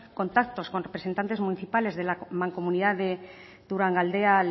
contactos con representantes municipales de la mancomunidad de durangaldea